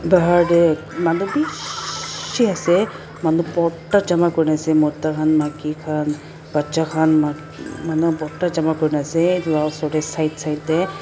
bahar tae manu bishiii ase manu borta jama kurina ase mota khan maki khan bacha khan manu borta jama kurina ase edu la osor tae side side tae.